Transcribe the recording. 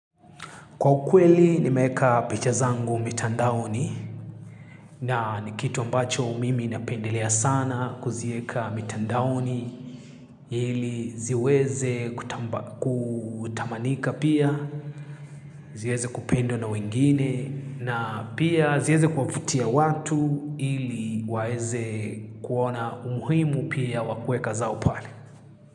Kwa ukweli nimeeka picha zangu mitandaoni na ni kitu ambacho mimi napendelea sana kuzieka mitandaoni ili ziweze kutamanika pia, ziweze kupendwa na wengine na pia ziweze kuwavutia watu ili waeze kuona umuhimu pia wakueka zao pale.